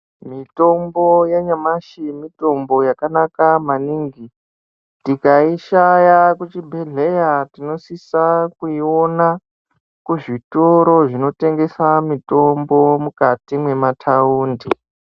Mitombo ya nyamashi mitombo yaka naka maningi tikai shaya ku chibhedhleya tinosisa kuyi ona ku zvitoro zvino tengesa mitombo mukati mwe mataundi.